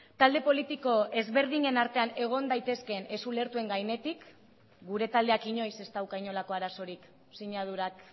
talde politiko ezberdinen artean egon daitezkeen ez ulertuen gainetik gure taldeak inoiz ez dauka inolako arazorik sinadurak